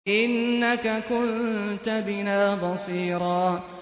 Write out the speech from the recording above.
إِنَّكَ كُنتَ بِنَا بَصِيرًا